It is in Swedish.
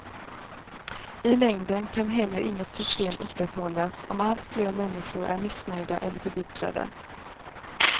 I längden kan heller inget system upprätthållas om alltfler människor är missnöjda eller förbittrade.